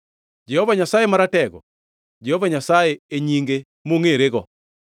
Jehova Nyasaye Maratego, Jehova Nyasaye e nyinge mongʼerego!